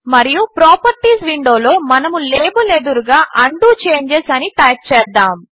మరియు ప్రాపర్టీస్ విండోలో మనము లాబెల్ ఎదురుగా ఉండో చేంజెస్ అని టైప్ చేద్దాము